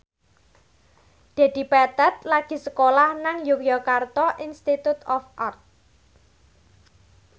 Dedi Petet lagi sekolah nang Yogyakarta Institute of Art